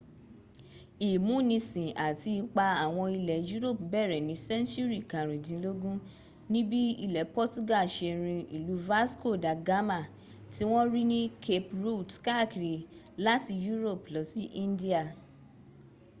ìmúnisìn àti ipa àwọn ilẹ̀ europe bẹ̀rẹ̀ ní sẹ́ńtùrì karùndínlógún níbi ilẹ̀ portuga se rin ìlú vasco da gama tí wọ́n rí ní cape route káàkiri láti europe lọ sí india